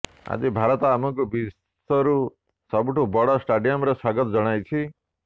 ଆଜି ଭାରତ ଆମକୁ ବିଶ୍ୱରୁ ସବୁଠାରୁ ବଡ଼ ଷ୍ଟାଡିୟମରେ ସ୍ୱାଗତ ଜଣାଇଛି